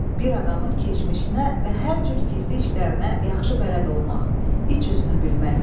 Bir adamın keçmişinə və hər cür gizli işlərinə yaxşı bələd olmaq, iç üzünü bilmək.